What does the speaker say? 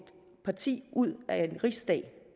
parti ud af en riksdag